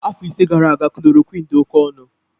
Afọ ise gara aga chloroquine dị oke ọnụ